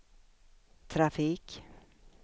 trafik